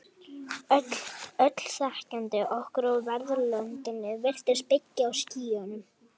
Öll þekking okkar á veröldinni virðist byggja á skynjun.